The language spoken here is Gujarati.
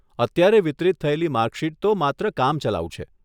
અત્યારે વિતરિત થયેલી માર્કશીટ તો માત્ર કામચલાઉ છે.